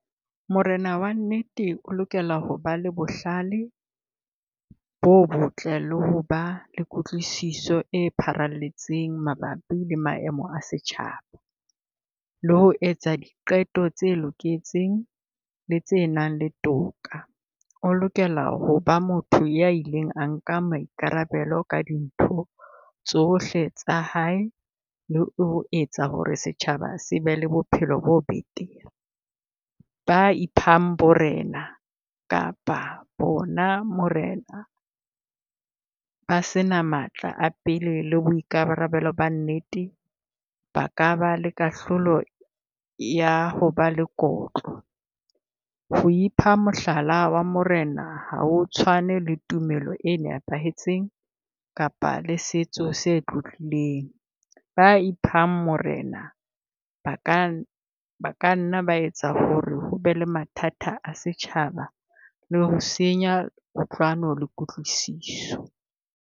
Morena wa nnete o lokela ho ba le bohlale bo botle le ho ba le kutlwisiso e pharalletseng mabapi le maemo a setjhaba. Le ho etsa diqeto tse loketseng le tse nang le toka. O lokela ho ba motho ya ileng a nka maikarabelo ka dintho tsohle tsa hae, le ho etsa ho re setjhaba se be le bophelo bo betere. Ba iphang borena kapa bona morena ba sena matla a pele le boikarabelo ba nnete, ba ka ba le kahlolo ya ho ba lekotlo. Ho ipha mohlala wa Morena, ha o tshwane le tumelo e nepahetseng kapa le setso se tlotlileng. Ba iphang morena ba ka, na kanna ba etsa ho re ho be le mathata a setjhaba le ho senya kutlwano le kutlwisiso.